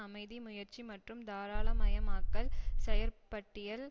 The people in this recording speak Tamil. அமைதி முயற்சி மற்றும் தாராளமயமாக்கல் செயற்பட்டியல்